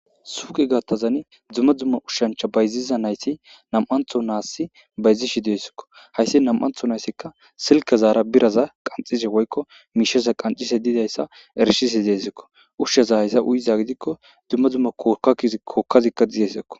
suuqi gattazani dumma dumma ushshancha bayziza nayti nam7antho naassi bayzishi deessikko hayssi nam7antho nayssikka silka zaara biraza qanxishe woykko miishesa qancise diidayssa erishise deesikko ushshe zahayssa uyiza gidikko dumma dzumma kka kookkazikka diyesekko